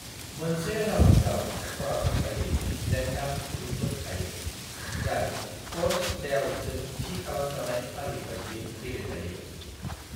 मोनसे 'राउन्ड' आव सरासनस्रायै 18 था गुदुंफोर थायो जाय कर्स लेआउटजों थि खालामजानाय फारि बायदियै गेले जायो।